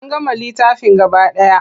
An gama littafin gaba ɗaya.